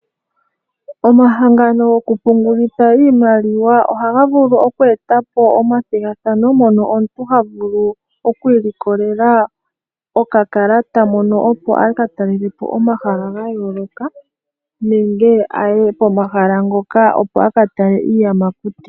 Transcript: Omahangano goku pungulitha iimaliwa ohaga vulu oku e ta po omathigathano, mono omuntu ha vulu oku ilikolela okakalata, mono opo a ka talele po omahala ga yooloka nenge aye komahala ngoka opo a ka tale iiyamakuti.